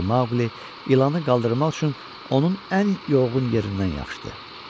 deyə Maqli ilanı qaldırmaq üçün onun ən yoğğun yerindən yapışdı.